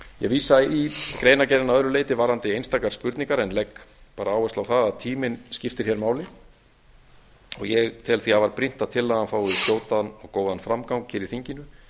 vísa í greinargerðina að öðru leyti varðandi einstakar spurningar en legg bara áherslu á það að tíminn skiptir hér máli ég tel því afar brýnt að tillagan fái skjótan og góðan framgang hér í þinginu